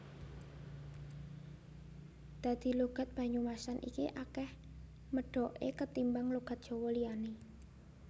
Dadi logat Banyumasan iki akeh medhoke ketimbang logat Jawa liyane